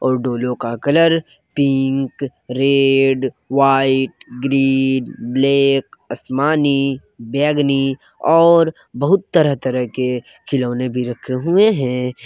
और डोलो का colour pink red white green black आसमानी बेगनी और बहुत तरह तरह के खिलौने भी रखे हुए हैं।